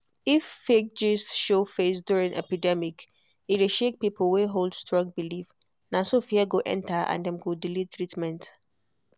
if fake gist show face during epidemic e dey shake people wey hold strong belief na so fear go enter and dem go delay treatment.